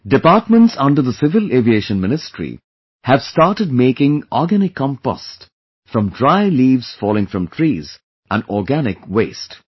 Departments under the Civil Aviation Ministry have started making organic compost from dry leaves falling from trees and organic waste